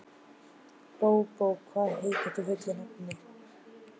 Bóbó, hvað heitir þú fullu nafni?